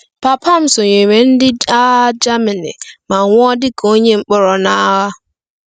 Papa m sonyeere ndị agha Germany ma nwụọ dị ka onye mkpọrọ n'agha.